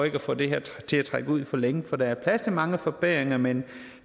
ikke at få det her til at trække ud for længe for der er plads til mange forbedringer men